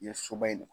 Yen soba in ne